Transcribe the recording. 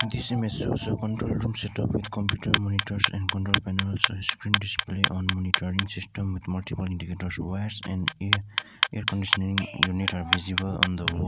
this image shows a control room setup with computer monitors and control panels screen display on monitoring system with multiple indicators wires and a air conditioning unit are visible on the wall.